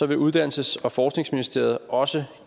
vil uddannelses og forskningsministeriet også